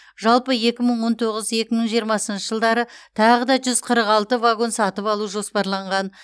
жалпы екі мың он тоғыз екі мың жиырмасыншы жылдары тағы да жүз қырық алты вагон сатып алу жоспарланған